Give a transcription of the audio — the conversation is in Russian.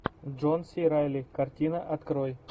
джон си райли картина открой